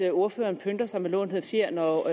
at ordføreren pynter sig med lånte fjer når